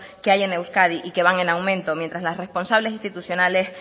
que hay en euskadi y que van en aumento mientras que las responsables institucionales